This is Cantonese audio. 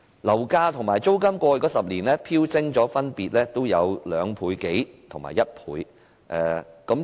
樓價和租金在過去10年分別飆升2倍多和1倍。